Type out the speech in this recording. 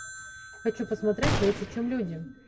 хочу посмотреть лучше чем люди